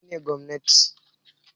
Me nene gwamnati?